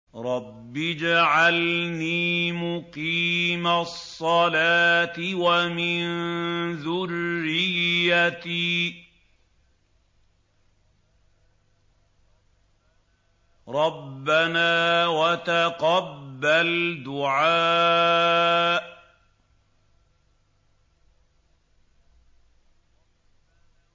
رَبِّ اجْعَلْنِي مُقِيمَ الصَّلَاةِ وَمِن ذُرِّيَّتِي ۚ رَبَّنَا وَتَقَبَّلْ دُعَاءِ